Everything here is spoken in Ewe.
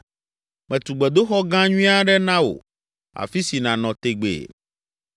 metu gbedoxɔ gã nyui aɖe na wò, afi si nànɔ tegbee.”